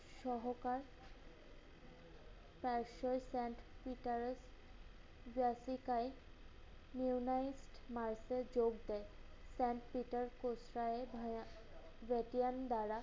সহকাল তার সহি sent petter যার শিখায় unit mart এ যোগ দেয়। sent petter যোসরায় Vatican দ্বারা